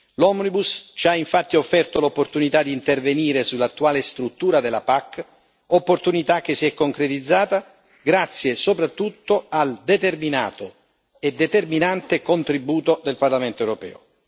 L'omnibus ci ha infatti offerto l'opportunità di intervenire sull'attuale struttura della PAC, opportunità che si è concretizzata soprattutto grazie al determinato e determinante contributo del Parlamento europeo.